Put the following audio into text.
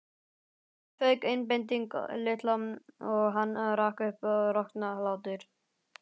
Síðan fauk einbeiting Lilla og hann rak upp roknahlátur.